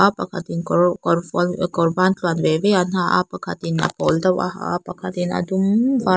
pakhatin kawr kawrvual kawr bantluan ve ve an ha a pakhatin a pawl deuh a ha a pakhatin a dum var --